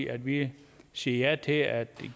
at vi siger ja til at